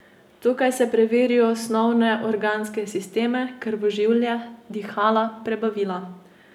Tukaj se preveri osnovne organske sisteme, krvožilje, dihala, prebavila.